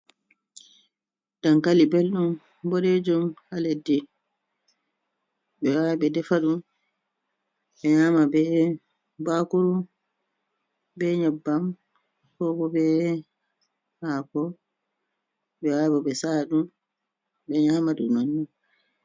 Dankali belɗum beɗeejum ha leddi ɓe yaha ɓe defa ɗum ɓe nyama be bakuru be nyebbam, kobo be hako, ɓehawra ɓe sa'aɗum ɓe nyama ɗum non.